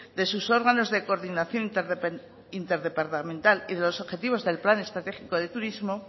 de sus órganos de coordinación interdepartamental y de los objetivos del plan estratégico de turismo